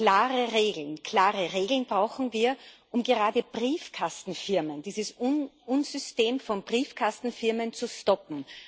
Klare Regeln, klare Regeln brauchen wir, um gerade Briefkastenfirmen, dieses Unsystem von Briefkastenfirmen zu stoppen.